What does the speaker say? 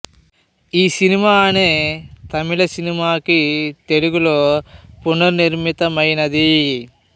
ఈసినిమా అనే తమిళ సినిమా కి తెలుగు లో పునర్మితమైనది